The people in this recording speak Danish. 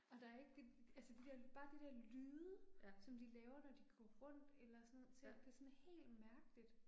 Og der er ikke de, altså de der, bare de der lyde, som de laver når de går rundt eller sådan ting, det er sådan helt mærkeligt